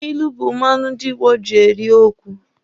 Ilu bu mmanụ ndị Igbo ji eri okwu.